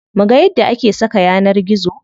Muga yadda ake saka yanar gizo.